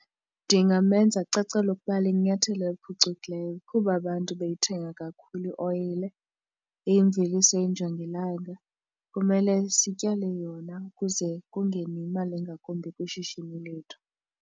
Ndingamema acacelwe ukuba linyathelo eliphucukileyo kuba abantu beyithenga kakhulu ioyile. Imveliso yejongilanga kumele sityale yona ukuze kungene imali engakumbi kwishishini lethu.